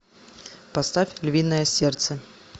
поставь львиное сердце